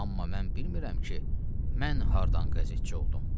Amma mən bilmirəm ki, mən hardan qəzetçi oldum.